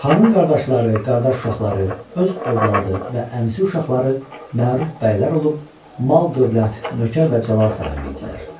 Xanın qardaşları, qardaş uşaqları, öz övladı və əmisi uşaqları məruf bəylər olub, mal-dövlət, nökər və cəlal sahibi idilər.